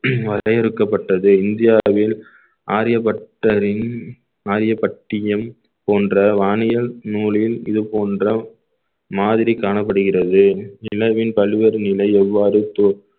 வரையறுக்கப்பட்டது இந்தியாவில் ஆரியப்பட்டாவின் ஆரிய பட்டியும் போன்ற வானியல் நூலில் இது போன்ற மாதிரி காணப்படுகிறது நிலவின் பல்வேறு நிலை எவ்வாறு தோ~